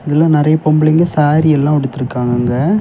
இதுல நறைய பொம்பளைங்க சாரி எல்லாம் உடுத்தி இருக்காங்க.